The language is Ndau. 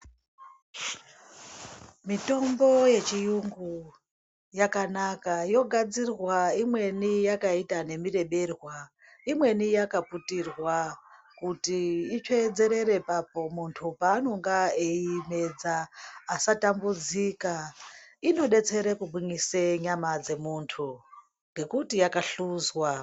Mitombo yechiyungu yakanaka, yogadzirwa imweni yakaita nemureberwa. Imweni yakaputirwa kuti itsveedzerere papo muntu paanonga eiimedza asatambudzika. Inodetsere kugwinyise nyama dzemuntu ngekuti yakahluzwa.